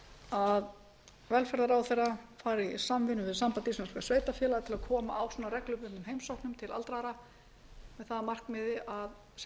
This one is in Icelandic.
að velferðarráðherra fari í samvinnu við samband íslenskra sveitarfélaga að koma á svona reglubundnum heimsóknum til aldraðra með það að markmiði að sem